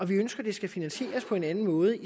vi ønsker at det skal finansieres på en anden måde